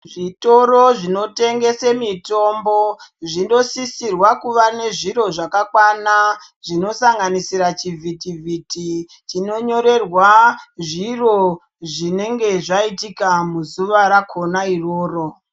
Zvitoro zvinotengese mitombo, zvinosisirwa kuva nezviro zvakakwana, zvinosanganisira chivhiti-vhiti, tinonyorerwa zviro zvinenge zvayitika muzuwa rakona iroro.